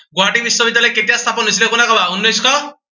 গুৱাহাটী বিশ্ববিদ্য়ালয় কেতিয়া স্থাপন হৈছিলে, কোনে কলা, উনৈচ শ